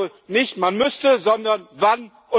Also nicht man müsste, sondern wann?